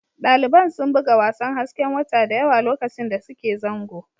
Daliban sun buga wasan hasken wata da yawa lokacin da suke zango